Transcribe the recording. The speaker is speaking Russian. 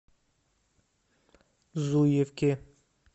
зуевке